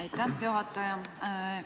Aitäh, juhataja!